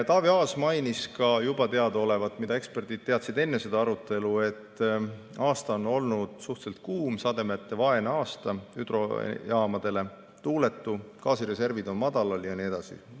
Taavi Aas mainis ka juba teadaolevat, mida eksperdid teadsid enne seda arutelu, et aasta on olnud suhteliselt kuum, hüdrojaamadele sademetevaene, tuuletu, gaasireservid on madalal jne.